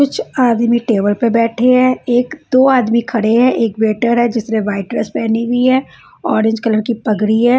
कुछ आदमी टेबल पे बैठे हैं एक दो आदमी खड़े हैं एक वेटर है जिसने व्हाइट ड्रेस पहनी हुई है ऑरेंज कलर की पगड़ी है।